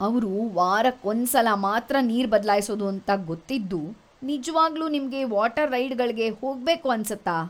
ಅವ್ರು ವಾರಕ್ಕೊಂದ್ಸಲ ಮಾತ್ರ ನೀರ್‌ ಬದ್ಲಾಯ್ಸೋದು ಅಂತ ಗೊತ್ತಿದ್ದೂ ನಿಜ್ವಾಗ್ಲೂ ನಿಮ್ಗೆ ವಾಟರ್ ರೈಡ್‌ಗಳ್ಗೆ ಹೋಗ್ಬೇಕು ಅನ್ಸತ್ತಾ?!